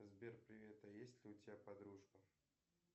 сбер привет а есть ли у тебя подружка